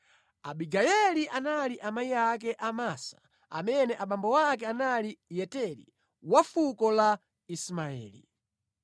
Abigayeli anali amayi ake a Amasa amene abambo ake anali Yeteri wa fuko la Ismaeli.